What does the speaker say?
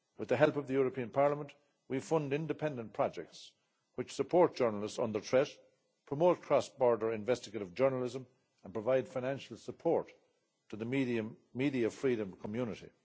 With the help of the European Parliament we fund independent projects which support journalists under threat, promote cross border investigative journalism and provide financial support to the media freedom community.